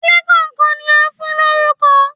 Ilé kàn kan ni a fún lórúkọ.